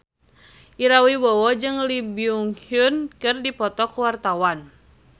Ira Wibowo jeung Lee Byung Hun keur dipoto ku wartawan